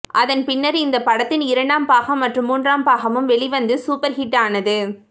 அதன் பின்னர் இந்த படத்தின் இரண்டாம் பாகம் மற்றும் மூன்றாம் பாகமும் வெளிவந்து சூப்பர் ஹிட் ஆனது